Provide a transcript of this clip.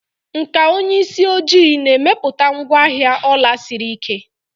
Nkà onye isi ojii na-emepụta ngwaahịa ọla siri ike.